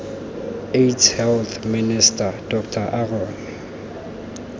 aids health minister dr aaron